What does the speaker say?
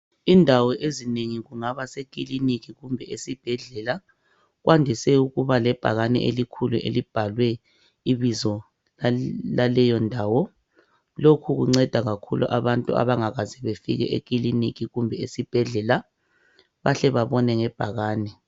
Indawo ezinengi, kungaba sekiliniki kumbe esibhedlela, kwandise ukuba lebhakane elikhulu elibhalwe ibizo laleyo ndawo. Lokhu kunceda kakhulu abantu abangakaze bafike kulezo izindawo.